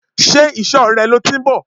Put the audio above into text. Ṣé ìsò rẹ lọ tí ń bọ̀?